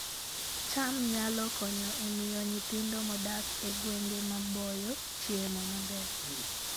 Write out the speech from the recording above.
cham nyalo konyo e miyo nyithindo modak e gwenge maboyo chiemo maber